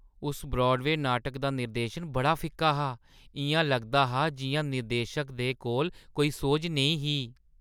उस ब्रॉडवेऽ नाटक दा निर्देशन बड़ा फिक्का हा। इʼयां लगदा हा जिʼयां निर्देशक दे कोल कोई सोझ नेईं ही।